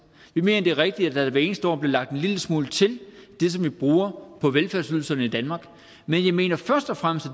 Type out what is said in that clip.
vi mener det er rigtigt at der hver eneste år bliver lagt en lille smule til det som vi bruger på velfærdsydelserne i danmark men jeg mener først og fremmest at